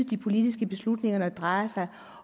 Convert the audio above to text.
de politiske beslutninger når det drejer sig